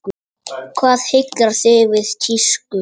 Hvað heillar þig við tísku?